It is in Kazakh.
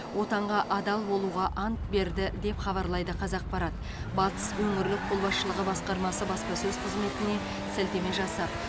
отанға адал болуға ант берді деп хабарлайды қазақпарат батыс өңірлік қолбасшылығы басқармасы баспасөз қызметіне сілтеме жасап